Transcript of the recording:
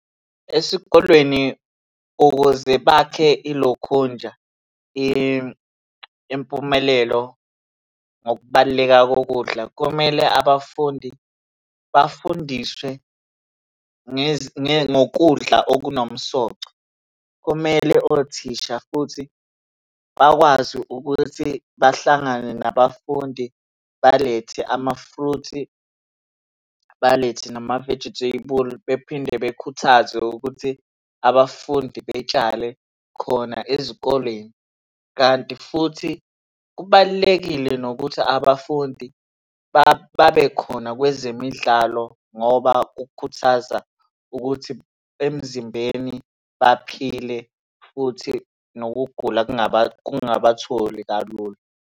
Esikolweni ukuze bakhe ilokhunja impumelelo ngokubaluleka kokudla, kumele abafundi bafundiswe ngokudla okunomsoco. Kumele othisha futhi bakwazi ukuthi bahlangane nabafundi balethe ama-fruit, balethe nama-vegetable. Bephinde bekhuthazwe ukuthi abafundi betshale khona ezikoleni, kanti futhi kubalulekile nokuthi abafundi babe khona kwezemidlalo, ngoba kukhuthaza ukuthi emzimbeni baphile futhi nokugula kungabatholi kalula.